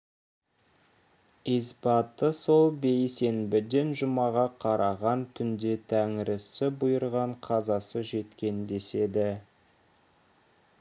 исбаты сол бейсенбіден жұмаға қараған түнде тәңірісі бұйырған қазасы жеткен деседі